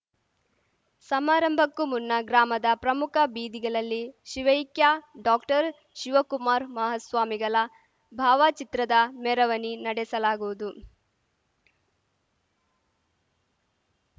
ಸಮಾರಂಭಕ್ಕೂ ಮುನ್ನ ಗ್ರಾಮದ ಪ್ರಮುಖ ಬೀದಿಗಲಲ್ಲಿ ಶಿವೈಕ್ಯ ಡಾಕ್ಟರ್ಶಿವಕುಮಾರ ಮಹಾಸ್ವಾಮಿಗಲ ಭಾವಚಿತ್ರದ ಮೆರವಣಿ ನಡೆಸಲಾಗುವುದು